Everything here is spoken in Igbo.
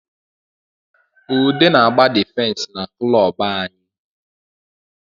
Ude na agba difensi na kulobu anyị